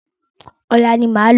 Ọ̀la ni máa lọ.